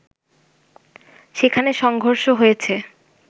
সেখানে সংঘর্ষ হয়েছে